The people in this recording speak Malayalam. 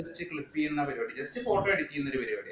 just clip ചെയ്യുന്ന പരിപാടി just copy അടിക്കുന്ന ഒരു പരിപാടി